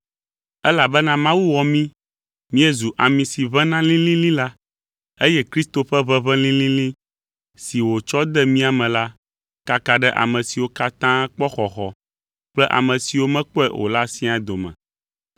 Elabena Mawu wɔ mí míezu ami si ʋẽna lĩlĩlĩ la, eye Kristo ƒe ʋeʋẽ lĩlĩlĩ si wòtsɔ de mía me la, kaka ɖe ame siwo katã kpɔ xɔxɔ kple ame siwo mekpɔe o la siaa dome.